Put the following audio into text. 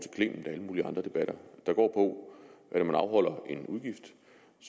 i mulige andre debatter der går på at når man afholder en udgift